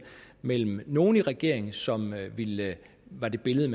mellem nogle i regeringen som ville det var det billede